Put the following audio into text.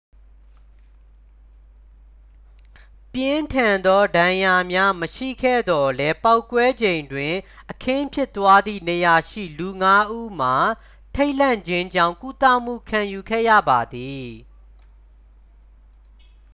ပြင်းထန်သော ဒဏ်ရာများ မရှိခဲ့သော်လည်း ပေါက်ကွဲချိန်တွင် အခင်းဖြစ်ပွားသည့်နေရာရှိ လူငါးဦးမှာ ထိတ်လန့်ခြင်းကြောင့် ကုသမှု ခံယူခဲ့ရပါသည်